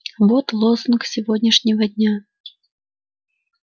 вот лозунг сегодняшнего дня